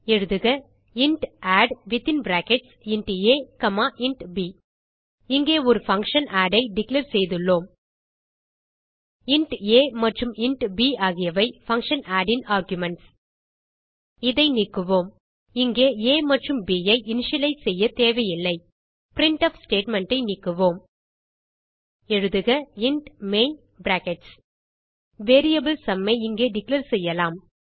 எழுதுக இன்ட் addஇன்ட் a int b இங்கே ஒரு பங்ஷன் ஆட் ஐ டிக்ளேர் செய்துள்ளோம் இன்ட் ஆ மற்றும் இன்ட் ப் ஆகியவை பங்ஷன் ஆட் ன் ஆர்குமென்ட்ஸ் இதை நீக்குவோம் இங்கே ஆ மற்றும் ப் ஐ இனிஷியலைஸ் செய்ய தேவையில்லை பிரின்ட்ஃப் ஸ்டேட்மெண்ட் ஐ நீக்குவோம் எழுதுக இன்ட் main வேரியபிள் sumஐ இங்கே டிக்ளேர் செய்யலாம்